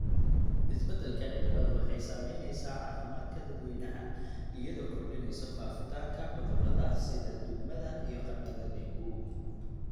Isbeddelka cimiladu waxay saamaysaa caafimaadka dadweynaha iyadoo kordhinaysa faafitaanka cudurrada sida duumada iyo qandhada dengue.